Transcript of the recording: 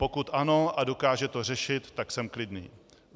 Pokud ano a dokáže to řešit, tak jsem klidný.